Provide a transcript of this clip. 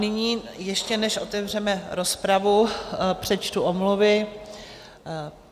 Nyní, ještě než otevřeme rozpravu, přečtu omluvy.